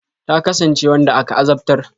Ta kasance wanda aka azabtar.